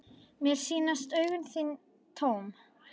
Mér sýnast augu þín tóm.